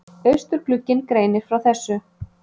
Austurglugginn greinir frá þessu